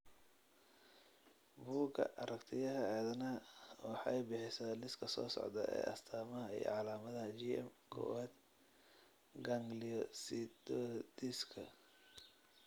Bugga Aragtiyaha Aadanaha waxay bixisaa liiska soo socda ee astamaha iyo calaamadaha GM kowaad gangliosidosiska.